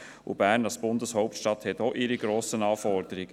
Und Bern als Bundeshauptstadt stellt auch hohe Anforderungen.